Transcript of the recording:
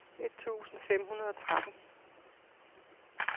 et tusind fem hundrede og tretten